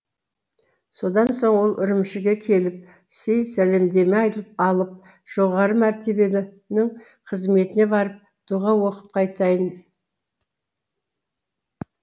содан соң ол үрімшіге келіп сый сәлемдеме алып жоғары мәртебелінің қызметіне барып дұға оқып қайтайын